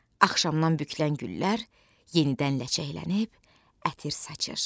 Axşamdan bükülən güllər yenidən ləçəklənib ətir saçır.